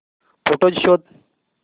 photos शोध